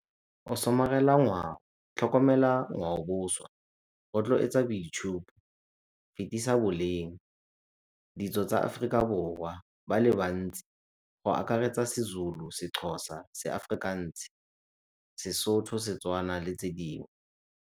Go somarela ngwao, tlhokomela ngwaoboswa, rotloetsa boitshupo, fetisa boleng, ditso tsa Aforika Borwa ba le bantsi go akaretsa seZulu, seXhosa, seAfrikaans, seSotho, Setswana le tse dingwe.